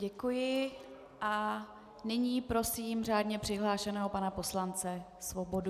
Děkuji a nyní prosím řádně přihlášeného pana poslance Svobodu.